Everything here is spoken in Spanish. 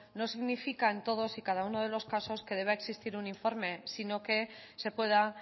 no significa en todos y cada uno de los casos que deba existir un informe sino que se pueda